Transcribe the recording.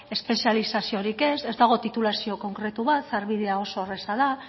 espezializaziorik ez ez dago titulazio konkretu bat sarbidea oso erraza da